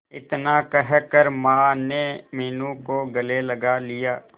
इतना कहकर माने मीनू को गले लगा लिया